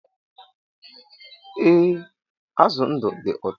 E, azụ ndụ dị ụtọ